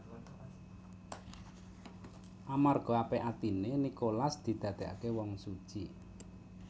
Amarga apik atiné Nikolas didadèkaké wong suci